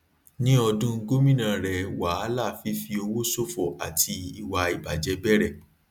ní ọdún gómìnà rẹ wàhálà fífi owó ṣòfò àti ìwà ìbàjẹ bẹrẹ